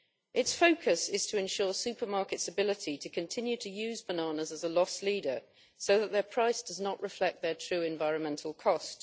Its focus is to ensure supermarkets' ability to continue to use bananas as a loss leader, so that their price does not reflect their true environmental cost.